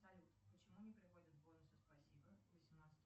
салют почему не приходят бонусы спасибо